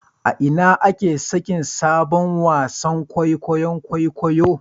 A ina ake sakin sabon wasan kwaikwayon kwaikwayo